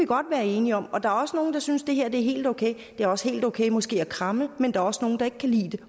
godt være enige om og der er også nogle der synes at det her er helt okay det er også helt okay måske at kramme men der er også nogle der ikke kan lide det